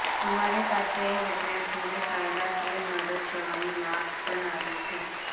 અમારી પાસે એ વિદ્યાર્થીઓને કાયદાકીય મદદ કરવાની માગ પણ આવી છે